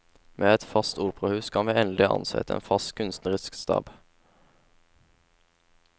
Med et fast operahus kan vi endelig ansette en fast kunstnerisk stab.